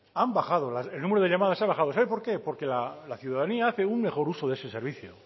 han bajado el número de llamadas han bajado sabe por qué porque la ciudadanía hace un mejor uso de ese servicio